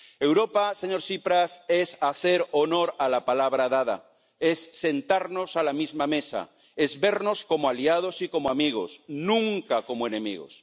Europa, señor Tsipras, es hacer honor a la palabra dada, es sentarnos a la misma mesa, es vernos como aliados y como amigos, nunca como enemigos.